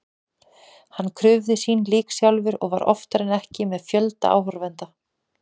Hann krufði sín lík sjálfur og var oftar en ekki með fjölda áhorfenda.